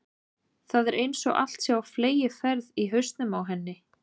Það er einsog allt sé á fleygiferð í hausnum á henni.